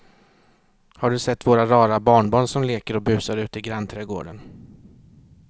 Har du sett våra rara barnbarn som leker och busar ute i grannträdgården!